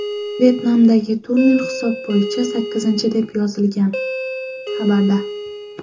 Vyetnamdagi turnir hisob bo‘yicha sakkizinchisi, deb yozilgan xabarda.